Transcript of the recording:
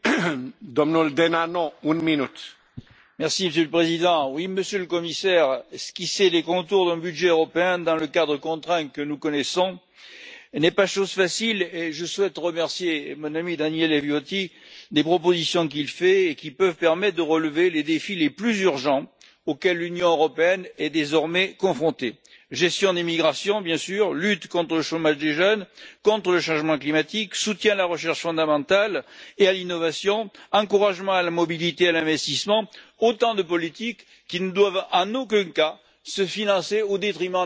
Monsieur le Président, Monsieur le Commissaire, oui, esquisser les contours d'un budget européen dans le cadre contraint que nous connaissons n'est pas chose facile, et je souhaite remercier mon ami, Daniele Viotti, des propositions qu'il fait et qui peuvent permettre de relever les défis les plus urgents auxquels l'Union européenne est désormais confrontée gestion des migrations, bien sûr, lutte contre le chômage des jeunes, lutte contre le changement climatique, soutien à la recherche fondamentale et à l'innovation, encouragement de la mobilité et de l'investissement, autant de politiques qui ne doivent, en aucun cas, être financées au détriment des politiques structurelles que sont les politiques de cohésion et de la PAC.